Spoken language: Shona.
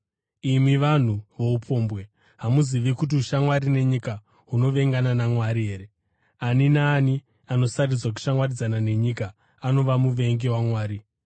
Imi vanhu voupombwe, hamuzivi kuti ushamwari nenyika hunovengana naMwari here? Ani naani anosarudza kushamwaridzana nenyika anova muvengi waMwari.